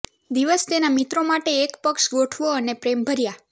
દિવસ તેના મિત્રો માટે એક પક્ષ ગોઠવો અને પ્રેમભર્યા